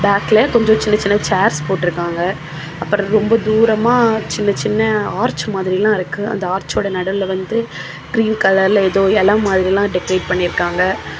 பேக்கல கொஞ்சோ சின்ன சின்ன சேர்ஸ் போற்றுக்கங்க அப்பர் ரொம்ப தூரமா சின்ன சின்ன ஆர்ச் மாதிரில்லா இருக்கு அந்த ஆர்சொட நடுவுல வந்து க்ரீன் கலர்ல ஏதோ எல மாதிரிலா டெகோரேட் பண்ணியிருக்காங்க.